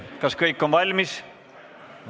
Kas kõik on valmis?